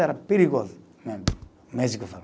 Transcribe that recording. Era perigoso mesmo, o médico falou.